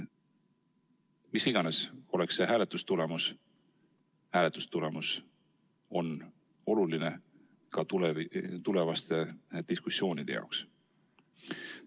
Milline iganes oleks hääletustulemus, see oleks oluline ka tulevaste diskussioonide jaoks.